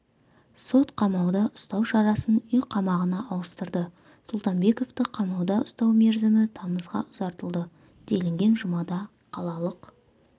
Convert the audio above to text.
сот қамауда ұстау шарасын үй қамағына ауыстырды сұлтанбековты қамауда ұстау мерзімі тамызға ұзартылды делінген жұмада қалалық